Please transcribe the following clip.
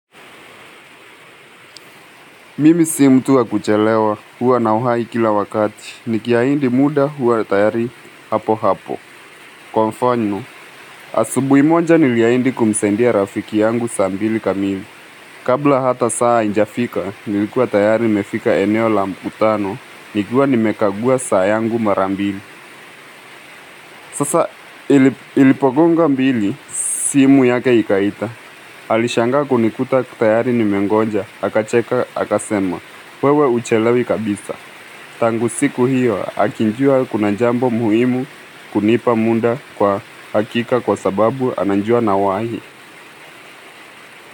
Mimi sio mtuwa kuchelewa, huwa na wahai kila wakati, nikiaindi muda huwa tayari hapo hapo. Kwa mfano asubuhi moja niliyaindi kumsaidia rafiki yangu saa mbili kamili. Kabla hata saa haijafika, nilikuwa tayari nimefika eneo la mkutano, nikiwa nimekagua saa yangu marambili. Sasa ilipogonga mbili, simu yake ikaita. Alishangaa kunikuta tayari nimengonja, akacheka, akasema, wewe uchelewi kabisa. Tangu siku hiyo, akijua kuna jambo muhimu kunipa munda kwa hakika kwa sababu anajua nawahi.